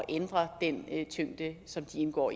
ændre den tyngde som de indgår